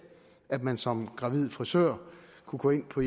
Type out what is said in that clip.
at man som gravid frisør kunne gå ind på